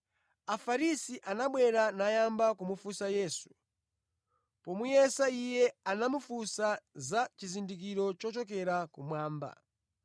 Afarisi anabwera nayamba kumufunsa Yesu. Pomuyesa Iye, anamufunsa za chizindikiro chochokera kumwamba.